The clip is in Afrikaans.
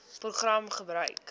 program gebruik